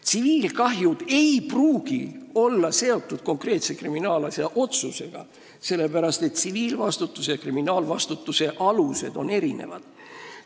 Tsiviilkahjud ei pruugi olla seotud konkreetse kriminaalasja otsusega, sellepärast et tsiviilvastutuse ja kriminaalvastutuse alused on erinevad.